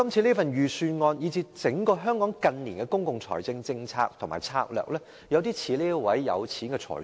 主席，預算案以至香港近年整體的公共財政政策和策略有點像這名有錢的財主。